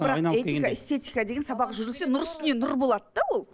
бірақ этика эстетика деген сабақ жүргізілсе нұр үстіне нұр болады да ол